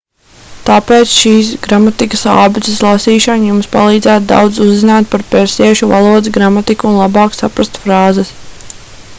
tāpēc šīs gramatikas ābeces lasīšana jums palīdzētu daudz uzzināt par persiešu valodas gramatiku un labāk saprast frāzes